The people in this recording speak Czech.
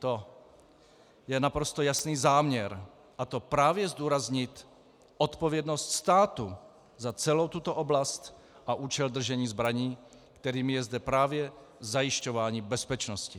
To je naprosto jasný záměr, a to právě zdůraznit odpovědnost státu za celou tuto oblast a účel držení zbraní, kterým je zde právě zajišťování bezpečnosti.